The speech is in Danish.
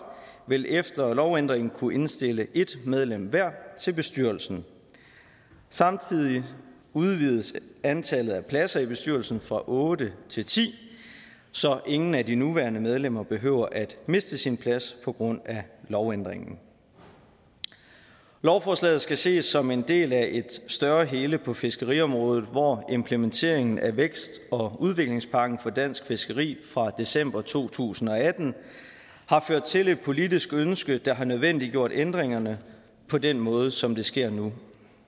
vil efter lovændringen kunne indstille et medlem hver til bestyrelsen samtidig udvides antallet af pladser i bestyrelsen fra otte til ti så ingen af de nuværende medlemmer behøver at miste sin plads på grund af lovændringen lovforslaget skal ses som en del af et større hele på fiskeriområdet hvor implementeringen af vækst og udviklingspakken for dansk fiskeri fra december to tusind og atten har ført til et politisk ønske der har nødvendiggjort ændringerne på den måde som det sker nu